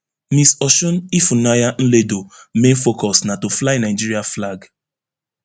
miss osun ifunanya nledo main focus na to fly nigeria flag